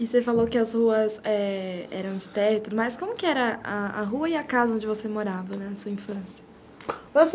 E você falou que as ruas eram, é, de teto, mas como que era a rua e a casa onde você morava na sua infância?